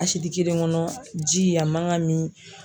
A kelen kɔnɔ, ji a man kan ka min.